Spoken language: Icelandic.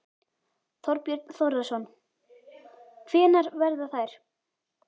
Þorbjörn Þórðarson: Hvenær verða þær?